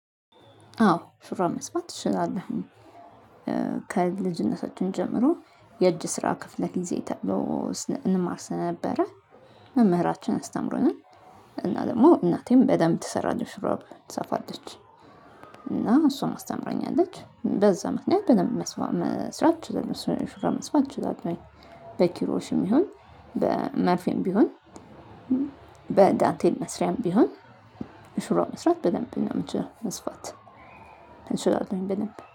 አዎ ሹራብ መስፋት እችላለሁኝ። ከልጅነታችን ጀምሮ የእጅ ስራ ክፍለ ጊዜ ተብሎ እንማር ነበረ መምህራችን አስተምሮናል እና ደግሞ እናቴም በደንብ ትሰራለች ሹራብ ትሰፋለች። እና እሷ አስተምራኛለች በዛ ምክንያት በደንብ መስራት እችላለሁ ሹራብ መስራት እችላለሁኝ። በኪሮሽም ይሁን በመርፌም ቢሆን በዳንቴል መስሪያም ቢሆን ሹራብ መስራት በደንብ ነው የምንችለው መስፋት። አልሰራሁም የምንበልም